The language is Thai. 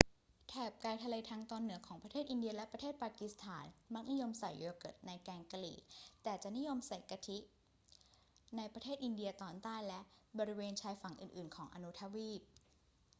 แถบไกลทะเลทางตอนเหนือของประเทศอินเดียและประเทศปากีสถานมักนิยมใส่โยเกิร์ตในแกงกะหรี่ แต่จะนิยมใส่กะทิในประเทศอินเดียตอนใต้และบริเวณชายฝั่งอื่น ๆ ของอนุทวีป